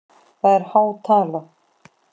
Það er há tala?